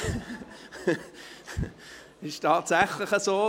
Das ist tatsächlich so: